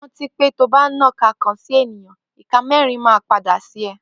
Rànti pẹ tọbà nàkà kàn si ẹniyàn, ìká mẹrin mà pàdé sí ẹ.